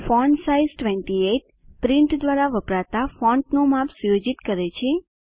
font size 28 print દ્વારા વપરાતા ફોન્ટનું માપ સુયોજિત કરે છે